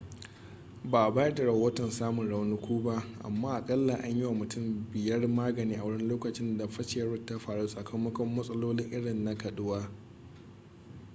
ba a bayar da rahoton samun raunuka ba amma akalla an yi wa mutum biyar magani a wurin lokacin da fashewar ta faru sakamakon matsaloli irin na kaduwa